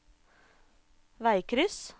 veikryss